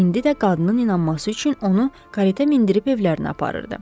İndi də qadının inanması üçün onu karetə mindirib evlərinə aparırdı.